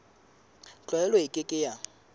tlwaelo e ke ke ya